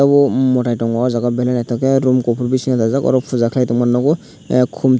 ohh motai tongo aw jaaga Belai nythotok ke room kufur bisingo dajak oro puja khalai tongma nugo ahh khum tui.